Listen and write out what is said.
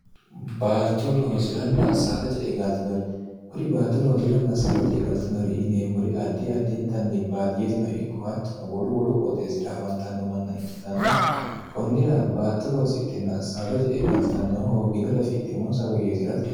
baato looziranna saada je e galtinori kuri baato loosi'ranna saada ce e galtinori yineemmori addi addiintanni baadiyetino ikko hattono wolu wolu qooxeesira afantanno manna ikkitanna kunnira baato loosidhinna saada je e galtannoho hoogginori afidhi moonsa woyyeeji'rate